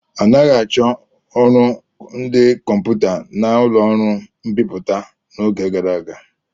Anaghị achọ ọrụ ndị kọmputa n'ụlọ ọrụ mbipụta n'oge gara aga.